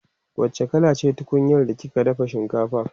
wacce kala ce tunkunyar da kika dafa shinkafa?